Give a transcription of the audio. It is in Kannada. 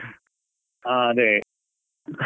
ಹಾ ಅದೇ .